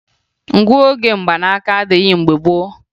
Ngụoge mgbanaaka adịghị mgbe gboo